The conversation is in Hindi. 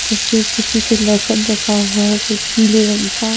जिसपे किसी पे लसन रखा हुआ है वो पीले रंग का--